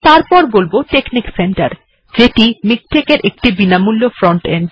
এরপর বলব technic centre যেটি মিকটেক্ এর একটি বিনামূল্য ফ্রন্ট এন্ড